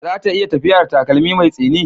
Za ta iya tafiya da takalmi mai tsini?